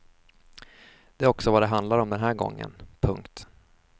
Det är också vad det handlar om den här gången. punkt